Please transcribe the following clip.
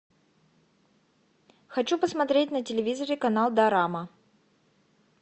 хочу посмотреть на телевизоре канал дорама